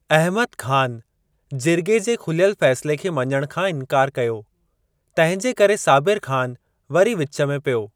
अहमद ख़ान जिर्गे जे खुलियल फै़सिले खे मञण खां इंकार कयो, तंहिंजे करे साबिर ख़ान वरी विच में पियो।